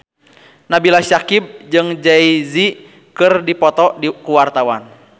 Nabila Syakieb jeung Jay Z keur dipoto ku wartawan